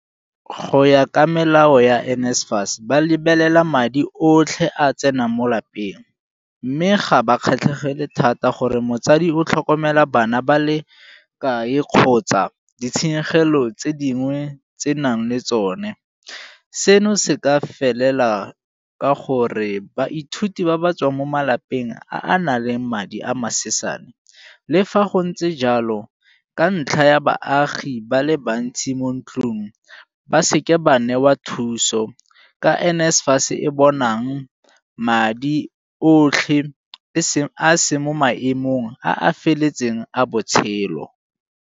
Go ya ka melao ya NSFAS ba lebelela madi otlhe a a tsenang mo lapeng mme ga ba kgatlhegele thata gore motsadi o tlhokomela bana ba le kae kgotsa ditshenyegelo tse dingwe tse nang le tsone. Seno se ka felela ka gore baithuti ba ba tswang mo malapeng a na leng madi a masesane le fa go ntse jalo ka ntlha ya baagi ba le bantsi mo ntlung ba seke ba newa thuso ka NSFAS e bonang madi otlhe a a seng mo maemong a a feletseng a botshelo.